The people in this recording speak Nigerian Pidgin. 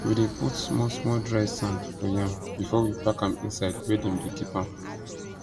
we dey put small small dry sand for yam before we pack am inside where dem de keep am